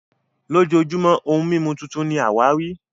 lojojumo ohun mimu titun ni awari